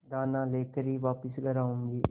दाना लेकर ही वापस घर आऊँगी